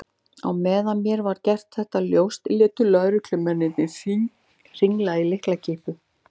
Á meðan mér var gert þetta ljóst létu lögreglumennirnir hringla í lyklakippum.